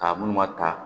Ka munnu ma ta